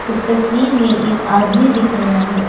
इस तस्वीर में एक आदमी दिख रहा है।